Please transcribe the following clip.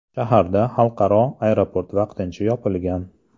Shaharda xalqaro aeroport vaqtincha yopilgan.